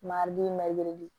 Marimɛdi